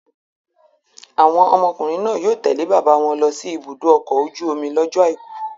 Àwọn ọmọkùnrin náà yóò tẹ̀lé bàbá wọn lọ sí ibùdó ọkọ̀ ojú-omi lọ́jọ́ àìkú.